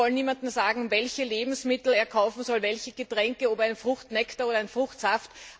Wir wollen niemandem sagen, welche Lebensmittel er kaufen soll, welche Getränke, ob einen Fruchtnektar oder einen Fruchtsaft.